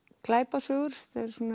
glæpasögur